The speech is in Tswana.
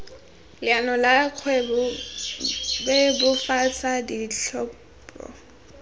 leano la kgwebo bebofatsa ditlhopho